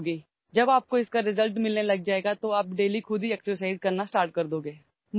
जेव्हा तुम्हाला परिणाम मिळू लागतील तेव्हा तुम्ही दररोज व्यायाम करायला सुरुवात कराल